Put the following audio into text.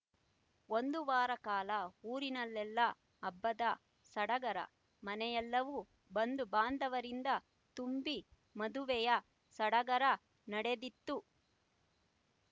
ಒಂದು ವಾರ ಕಾಲ ಊರಿನಲ್ಲೆಲ್ಲ ಹಬ್ಬದ ಸಡಗರ ಮನೆಯೆಲ್ಲವೂ ಬಂಧುಬಾಂಧವರಿಂದ ತುಂಬಿ ಮದುವೆಯ ಸಡಗರ ನಡೆದಿತ್ತು